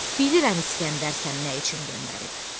Bilirəm İsgəndər səni nə üçün göndərib.